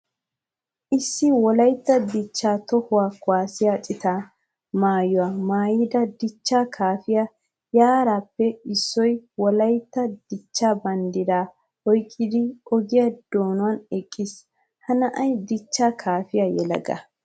Issi wolaytta dicha toho kuwasiya cita maayuwa maayidda dicha kafiya yarappe issoy wolaytta dicha banddira oyqqiddi ogiya giduwan eqqiis. Ha na'ay dicha kaafiya yelaga.